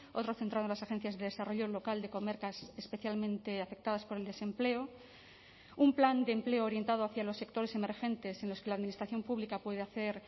otro centrado en las agencias de desarrollo local de comarcas especialmente afectadas por el desempleo un plan de empleo orientado hacia los sectores emergentes en los que la administración pública puede hacer